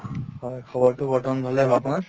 হয় খবৰতো বৰ্তমান ভালে, আপোনাৰ?